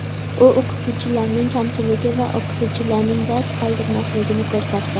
U o‘qituvchilarning kamchiligi va o‘quvchilarning dars qoldirmasligini ko‘rsatdi.